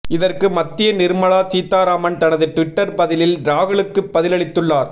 இதற்கு மத்திய நிர்மலா சீதாராமன் தனது டுவிட்டர் பதிலில் ராகுலுக்கு பதிலளித்துள்ளார்